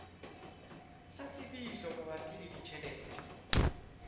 sa tsebiso mabapi le ditjhelete